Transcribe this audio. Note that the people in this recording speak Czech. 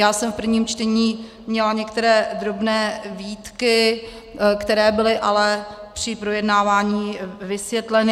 Já jsem v prvním čtení měla některé drobné výtky, které byly ale při projednávání vysvětleny.